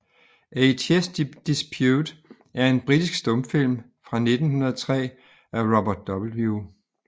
A Chess Dispute er en britisk stumfilm fra 1903 af Robert W